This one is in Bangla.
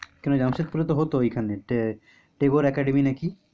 কেন জামশেদপুরে তো হত ঐখানে tabour academy নাকি?